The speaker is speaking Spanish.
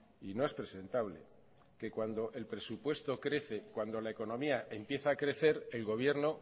y no es presentable que cuando el presupuesto crece cuando la economía empieza a crecer el gobierno